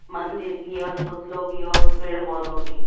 मंदिर की और पुतलों की और पेड़ पौधों की--